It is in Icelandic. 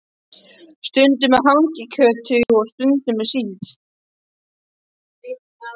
Stundum með hangikjöti og stundum með síld.